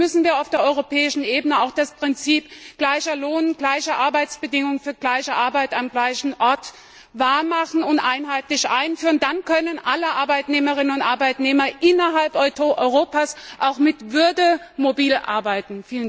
Deswegen müssen wir auf der europäischen Ebene auch das Prinzip gleicher Lohn, gleiche Arbeitsbedingungen für gleiche Arbeit am gleichen Ort wahr machen und einheitlich einführen. Dann können alle Arbeitnehmerinnen und Arbeitnehmer innerhalb Europas auch mit Würde mobil arbeiten.